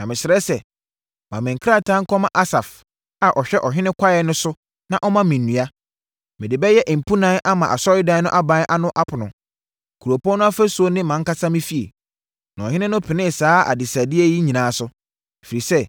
Na mesrɛ sɛ, ma me krataa nkɔma Asaf a ɔhwɛ ɔhene kwaeɛ so na ɔmma me nnua. Mede bɛyɛ mpunan ama Asɔredan no aban ano apono, kuropɔn no afasuo ne mʼankasa me fie.” Na ɔhene no penee saa abisadeɛ yi nyinaa so, ɛfiri sɛ,